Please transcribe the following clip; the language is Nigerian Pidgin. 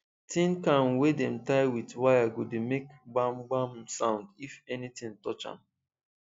tin can wey dem tie with wire go dey make gbamgbam sound if anything touch am